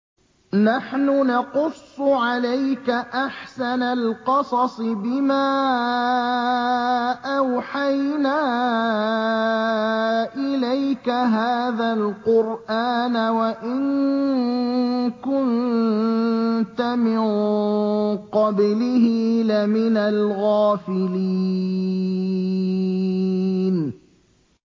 نَحْنُ نَقُصُّ عَلَيْكَ أَحْسَنَ الْقَصَصِ بِمَا أَوْحَيْنَا إِلَيْكَ هَٰذَا الْقُرْآنَ وَإِن كُنتَ مِن قَبْلِهِ لَمِنَ الْغَافِلِينَ